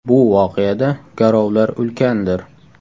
Bu voqeada garovlar ulkandir.